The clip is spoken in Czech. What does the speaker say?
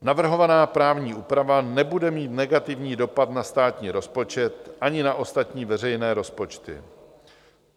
Navrhovaná právní úprava nebude mít negativní dopad na státní rozpočet ani na ostatní veřejné rozpočty.